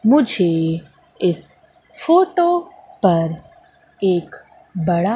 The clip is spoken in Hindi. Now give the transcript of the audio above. मुझे इस फोटो पर एक बड़ा--